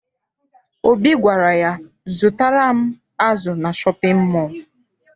Obi gwara ya, zụtara m azụ na shọpịn mọọ!